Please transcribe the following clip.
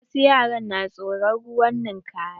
Wasu yaran na tsoron ruwan ninkaya.